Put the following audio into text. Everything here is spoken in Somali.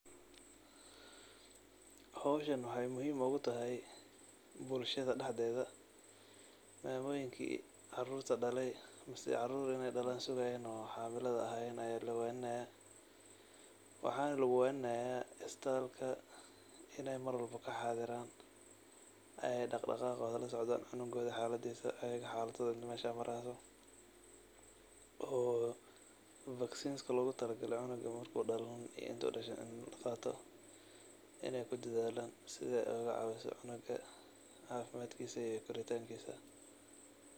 Howshanbwxay muhiim ogu tahay bulshada dhaxdeeda mamooyinki caarurta dhaleey mise sugayan ina carur dhalan oo xaamilada ahayeen aya la waninaya, waxana lugu waninaya isbitalka inay Mar walba kaxadiran oo ay dhagdhaqaa qoda ladsocdan, cunugooda xaladiisa iyo ayaga xaladooda meshay mari hayso oo fagsinska logu tala gale canuga marki dhalanin iyo marki uu dhasho inay kudadalaan si ay oga caawiso canuga caafimaadkiisa iyo koritankiisa